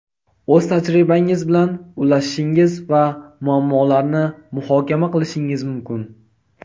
o‘z tajribangiz bilan ulashishingiz va muammolarni muhokama qilishingiz mumkin.